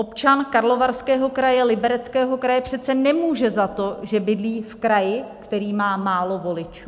Občan Karlovarského kraje, Libereckého kraje přece nemůže za to, že bydlí v kraji, který má málo voličů.